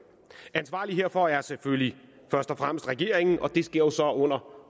ansvarlig herfor er selvfølgelig først og fremmest regeringen og det sker så under